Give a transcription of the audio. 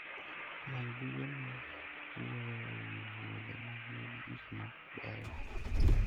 Many buge mawuoyo e wi wuodhe ma nigi gik ma beyo.